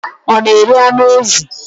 Ọ na-eri anụ ezi?